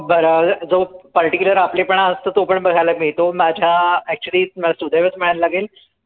बर जो particular आपलेपणा असतो तो पण बघायला मिळतो माझ्या actually न सुदैवच म्हणायला लागेल.